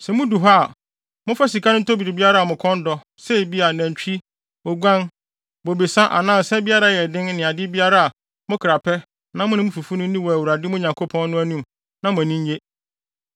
Sɛ mudu hɔ a, momfa sika no ntɔ biribiara a mo kɔn dɔ, sɛ ebia, nantwi, oguan, bobesa, anaa nsa biara a ɛyɛ den ne ade biara a mo kra pɛ na mo ne mo fifo nni wɔ Awurade, mo Nyankopɔn no, anim na mo ani nnye.